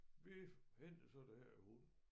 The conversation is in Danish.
Vi hentede så den her hund